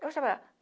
Eu estava lá.